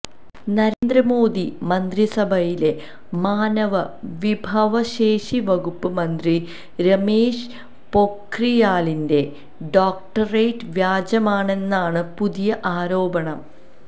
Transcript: നരേന്ദ്രമോദി മന്ത്രിസഭയിലെ മാനവ വിഭവശേഷി വകുപ്പ് മന്ത്രി രമേഷ് പൊഖ്രിയാലിന്റെ ഡോക്ടറേറ്റ് വ്യാജമാണെന്നാണ് പുതിയ ആരോപണം